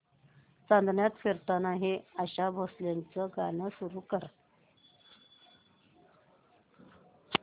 चांदण्यात फिरताना हे आशा भोसलेंचे गाणे सुरू कर